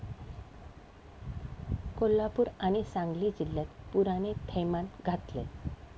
कोल्हापूर आणि सांगली जिल्ह्यात पुराने थैमान घातलंय.